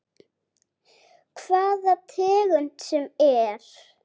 Hvaða tegund sem er.